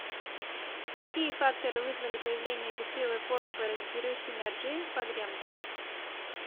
какие факторы вызвали появление бескрылой формы паразитирующей на ржи погремка